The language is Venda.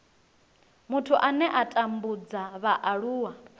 muthu ane a tambudza vhaaluwa